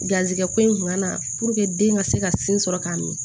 Garisigɛ ko in kun ka na den ka se ka sin sɔrɔ k'a min